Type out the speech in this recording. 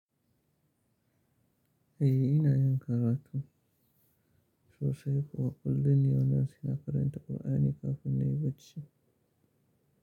Eh ina yin karatu sosai. Wa kullum ne wannan sai na karanta Ƙur'ani kafin na yi bacci.